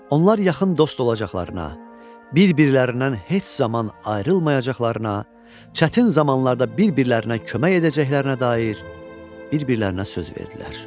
Onlar yaxın dost olacaqlarına, bir-birlərindən heç zaman ayrılmayacaqlarına, çətin zamanlarda bir-birlərinə kömək edəcəklərinə dair bir-birlərinə söz verdilər.